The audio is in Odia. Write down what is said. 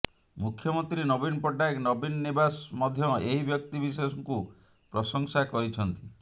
ମୁଖ୍ୟମନ୍ତ୍ରୀ ନବୀନ ପଟ୍ଟନାୟକ ନବୀନ ନିବାସ ମଧ୍ୟ ଏହି ବ୍ୟକ୍ତି ବିଶେଷଙ୍କୁ ପ୍ରଶଂସା କରିଛନ୍ତି